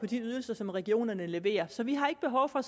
de ydelser som regionerne leverer så vi har ikke behov for